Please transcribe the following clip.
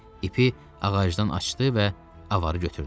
İpi ağacdan açdı və avarı götürdü.